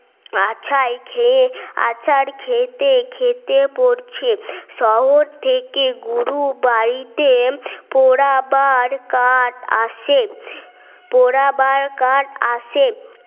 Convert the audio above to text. আছেই খেয়ে আছাড় খেতে খেতে পড়ছে শহর থেকে গুরু বাড়িতে পোড়াবার কাট আসে পড়াবার কাট আসে